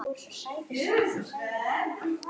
Ég tók myndir en get ekki sett þær hér.